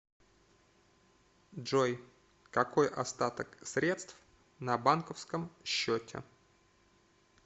джой какой остаток средств на банковском счете